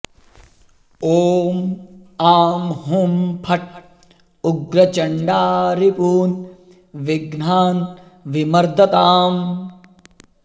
ॐ आं हूं फट् उग्रचण्डा रिपून् विघ्नान् विमर्दताम्